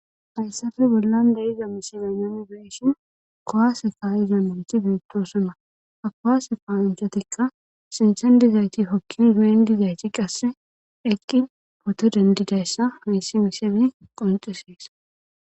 Hayssafe bollan dayiza misile nun be'ishin kowaase kaayizamanti beettosona hakowaase paanchatikka sinthen dizayti hokki zuyen dizayti qasse eqqi poto dendidayssa hesi miseme qoncisees